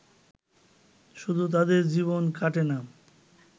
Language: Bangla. শুধু তাঁদের জীবন কাটে না